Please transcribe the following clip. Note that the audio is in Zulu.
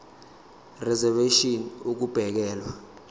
reservation ngur ukubekelwa